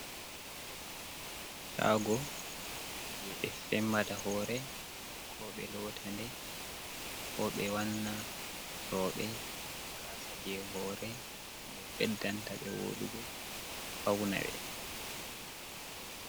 Shago je ɓe fembata hore ko ɓe lotanɗe ko ɓe wanna robe gasa je hore je ɓeddanta be wodugo fauna be.